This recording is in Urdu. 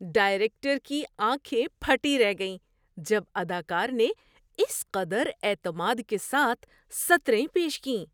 ڈائریکٹر کی آنکھیں پھٹی رہ گئیں جب اداکار نے اس قدر اعتماد کے ساتھ سطریں پیش کیں۔